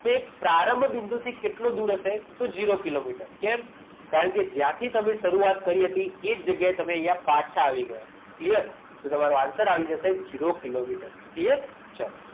તો એ પ્રારંભ બિંદુ થી કેટલું દૂર હશે તો ઝીરો કિલોમીટર કેમ કારણ કે જ્યાંથી તમે શરૂઆત કરી હતી એ જગ્યાએથી તમે પાછા આવી ગયા clear તો તમારો answer આવી જશે ઝીરો કિલોમીટર clear ચાલો